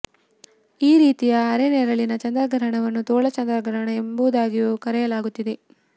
ಈ ರೀತಿಯ ಅರೆನೆರಳಿನ ಚಂದ್ರಗ್ರಹಣವನ್ನು ತೋಳ ಚಂದ್ರಗ್ರಹಣ ಎಂಬು ದಾಗಿಯೂ ಕರೆಯಲಾಗುತ್ತದೆ